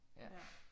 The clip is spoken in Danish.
Ja